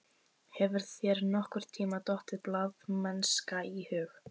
Hefur þér nokkurntíma dottið blaðamennska í hug?